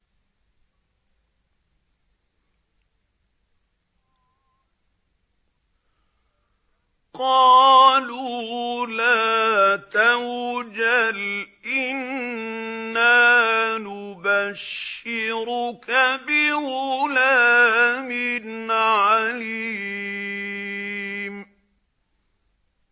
قَالُوا لَا تَوْجَلْ إِنَّا نُبَشِّرُكَ بِغُلَامٍ عَلِيمٍ